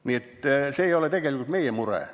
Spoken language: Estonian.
Nii et see ei ole tegelikult meie mure.